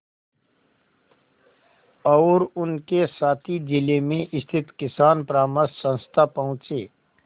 और उनके साथी जिले में स्थित किसान परामर्श संस्था पहुँचे